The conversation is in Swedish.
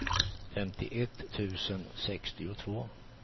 femtioett tusen sextiotvå